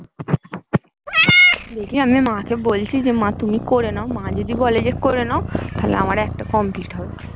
দেখি আমি মাকে বলেছি তুমি করে নাও মা যোদি বলে করে নাও তাহলে আমার একটা complete হবে